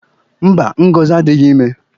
Mba, Ngozi adịghị ime.